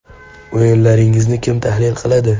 O‘yinlaringizni kim tahlil qiladi?